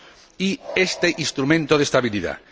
y este instrumento de estabilidad.